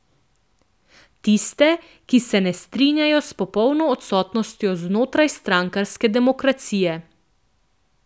Tiste, ki se ne strinjajo s popolno odsotnostjo znotrajstrankarske demokracije.